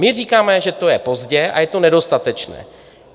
My říkáme, že to je pozdě a je to nedostatečné.